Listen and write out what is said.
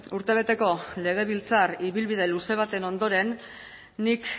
urtebeteko legebiltzar ibilbide luze baten ondoren nik